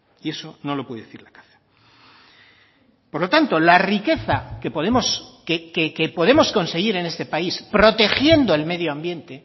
y eso no lo puede decir la caza por lo tanto la riqueza que podemos que podemos conseguir en este país protegiendo el medio ambiente